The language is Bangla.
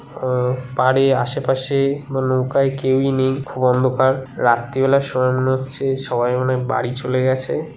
আহ পারে আশেপাশে-এ বা নৌকায় কেউই নেই খুব অন্ধকার। রাত্রিবেলার মনে হচ্ছে সবাই মনে হয় বাড়ি চলে গেছে--